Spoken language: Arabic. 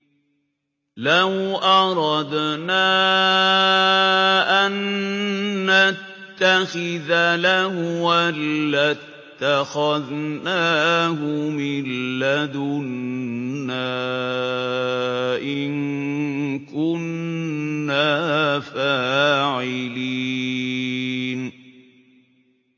لَوْ أَرَدْنَا أَن نَّتَّخِذَ لَهْوًا لَّاتَّخَذْنَاهُ مِن لَّدُنَّا إِن كُنَّا فَاعِلِينَ